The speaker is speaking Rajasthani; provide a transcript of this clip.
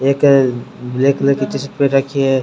एक ब्लैक कलर की टीशर्ट पैर रखी है।